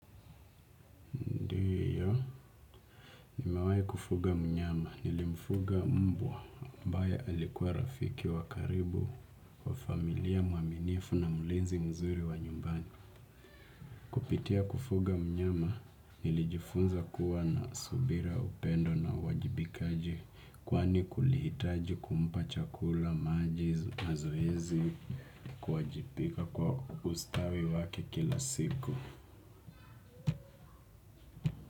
Umewahi kufuga mnyama nilimfuga mmbwa ambae alikuwa rafiki wakaribu wa familia muaminifu na mlinzi mzuri wa nyumbani. Kupitia kufuga mnyama nilijifunza kuwa na subira upendo na wajibikaji kwani kulihitaji kumpa chakula, maji, mazoezi kuwajibika kwa ustawi wake kila siku.